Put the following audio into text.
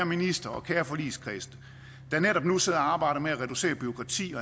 minister og kære forligskreds der netop nu sidder og arbejder med at reducere bureaukrati og